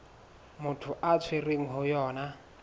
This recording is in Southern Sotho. motho a tshwerweng ho yona